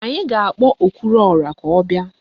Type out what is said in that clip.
Anyị a ga-akpọ okwuruọra ka ọ bịa?